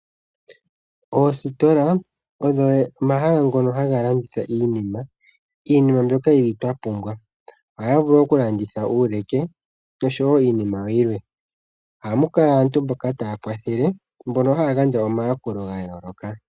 Oositola odho omahala ngono haga landitha iinima. Iinima mbyoka yili twa pumbwa. Ohaya vulu oku landitha uuluke osho woo iinima yilwe. Ohamu kala aantu taya kwathele mbono haya gandja omayakulo ga yooloka.